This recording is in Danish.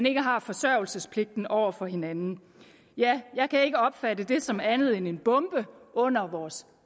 ikke har forsørgelsespligt over for hinanden jeg kan ikke opfatte det som andet end en bombe under vores